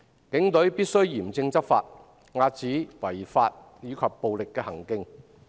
警隊必須嚴正執法，遏止違法及暴力行徑。